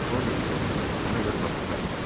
Qorye isə hələ də fabrikant idi.